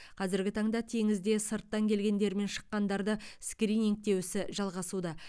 қазіргі таңда теңізде сырттан келгендер мен шыққандарды скринингтеу ісі жалғасуда